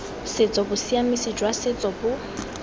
setso bosiamisi jwa setso bo